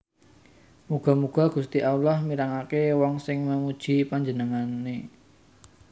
Muga muga Gusti Allah mirengaké wong sing memuji Panjenengané